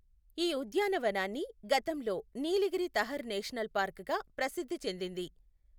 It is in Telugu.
ఈ ఉద్యానవనాన్ని గతంలో నీలగిరి తహర్ నేషనల్ పార్క్ గా ప్రసిద్ధి చెందింది.